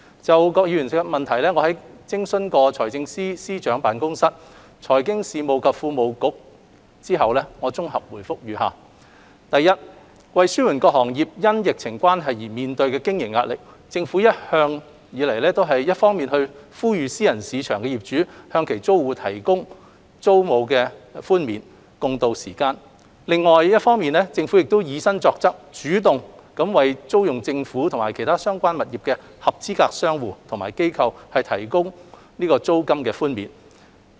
就郭議員的質詢，經諮詢財政司司長辦公室、財經事務及庫務局後，我現綜合答覆如下：一為紓緩各行業因疫情關係而面對的經營壓力，政府一方面呼籲私人市場業主向其租戶提供租金寬免，共渡時艱，另一方面亦以身作則，主動為租用政府及其他相關物業的合資格商戶或機構提供租金寬免。